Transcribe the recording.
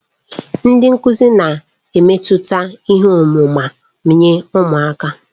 Ndị nkuzi na-emetụta ihe ọmụma nye ụmụ akwụkwọ.